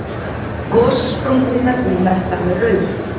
Gossprungurnar eru merktar með rauðu.